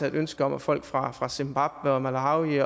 et ønske om at folk fra fra zimbabwe og malawi